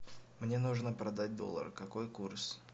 мне нужно продать доллары какой курс